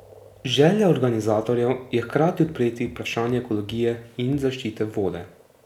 Želja organizatorjev je hkrati odpreti vprašanje ekologije in zaščite vode.